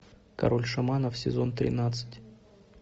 король шаманов сезон тринадцать